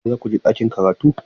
Yau za ku je ɗakin karatu?